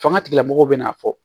Fanga tigilamɔgɔw bɛna a fɔ